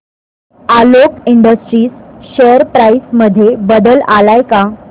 Alok industries share price मध्ये बदल आलाय का